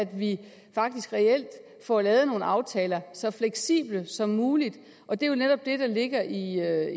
vi faktisk reelt får lavet nogle aftaler så fleksible som muligt og det er jo netop det der ligger i